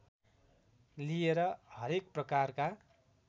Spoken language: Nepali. लिएर हरेक प्रकारका